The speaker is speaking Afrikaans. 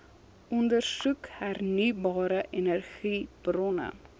ondersoek hernieubare energiebronne